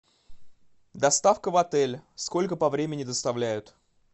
доставка в отеле сколько по времени доставляют